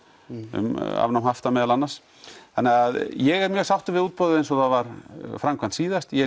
um afnám hafta meðal annars þannig að ég er mjög sáttur með útboðið eins og það var framkvæmt síðast ég er